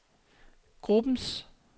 gruppens